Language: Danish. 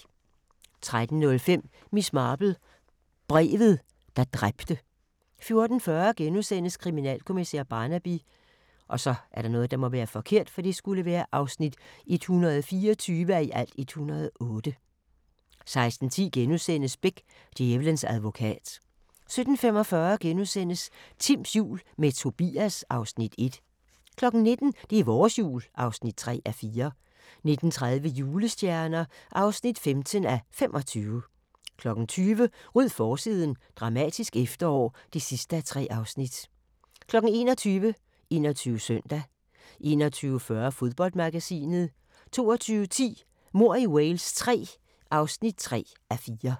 13:05: Miss Marple: Brevet, der dræbte 14:40: Kriminalkommissær Barnaby (124:108)* 16:10: Beck: Djævelens advokat * 17:45: Timms jul – med Tobias (Afs. 1)* 19:00: Det er vores jul (3:4) 19:30: Julestjerner (15:25) 20:00: Ryd forsiden – dramatisk efterår (3:3) 21:00: 21 Søndag 21:40: Fodboldmagasinet 22:10: Mord i Wales III (3:4)